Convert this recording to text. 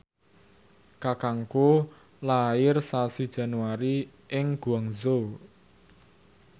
kakangku lair sasi Januari ing Guangzhou